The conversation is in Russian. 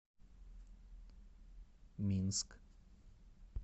минск